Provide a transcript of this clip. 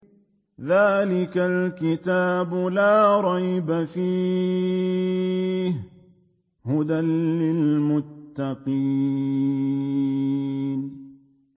ذَٰلِكَ الْكِتَابُ لَا رَيْبَ ۛ فِيهِ ۛ هُدًى لِّلْمُتَّقِينَ